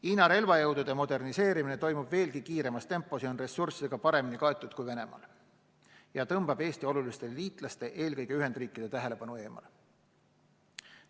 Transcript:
Hiina relvajõudude moderniseerimine toimub veelgi kiiremas tempos ja protsess on ressurssidega paremini kaetud kui Venemaal ja tõmbab Eesti oluliste liitlaste, eelkõige Ühendriikide tähelepanu eemale.